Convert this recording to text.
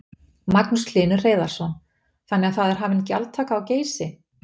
Magnús Hlynur Hreiðarsson: Þannig að það er hafin gjaldtaka á Geysi?